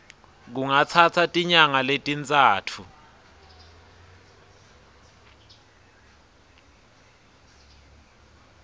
kungatsatsa tinyanga letintsatfu